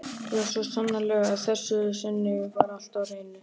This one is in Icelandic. Já, svo sannarlega: að þessu sinni var allt á hreinu.